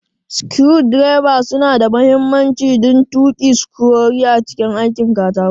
Screwdrivers suna da mahimmanci don tuki sukurori a cikin aikin katako.